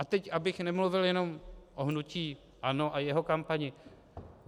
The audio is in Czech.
A teď abych nemluvil jenom o hnutí ANO a jeho kampani.